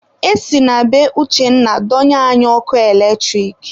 E si na be Uchenna donye anyị ọkụ eletrik.